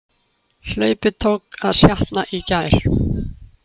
Hlaupið tók að sjatna í gær